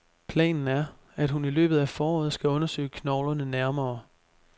Planen er, at hun i løbet af foråret skal undersøge knoglerne nærmere.